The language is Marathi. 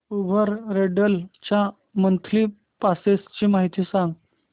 उबर रेंटल च्या मंथली पासेस ची माहिती सांग